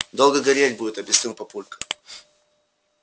долго гореть будет объяснил папулька